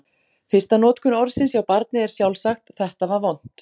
Fyrsta notkun orðsins hjá barni er sjálfsagt: Þetta var vont!